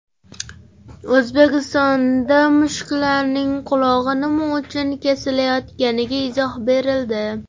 O‘zbekistonda mushuklarning qulog‘i nima uchun kesilayotganiga izoh berildi.